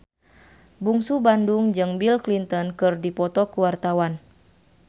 Bungsu Bandung jeung Bill Clinton keur dipoto ku wartawan